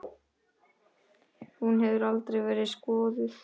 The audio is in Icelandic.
Hún hefur aldrei verið skoðuð.